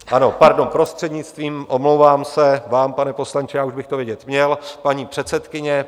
Ano, pardon, prostřednictvím, omlouvám se vám, pane poslanče, já už bych to vědět měl, paní předsedkyně.